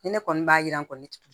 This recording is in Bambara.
Ni ne kɔni b'a yira n kɔnɔ ti